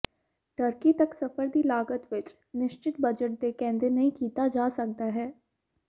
turkey ਤੱਕ ਸਫ਼ਰ ਦੀ ਲਾਗਤ ਇੱਕ ਨਿਸ਼ਚਿਤ ਬਜਟ ਦੇ ਕਹਿੰਦੇ ਨਹੀ ਕੀਤਾ ਜਾ ਸਕਦਾ ਹੈ